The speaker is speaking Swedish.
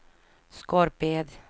Skorped